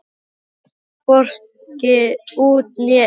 Þú kemst hvorki út né inn.